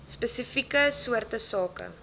spesifieke soorte sake